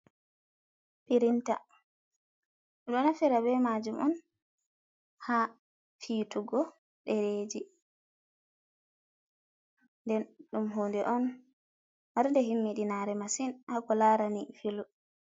pirinta, ɗo nafira be majuum on ha fiitugo ɗereji den ɗum hunde on marde himmi ɗinare masin hako larani filu.